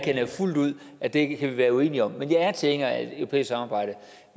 jeg fuldt ud at vi kan være en uenige om men jeg er tilhænger af et europæisk samarbejde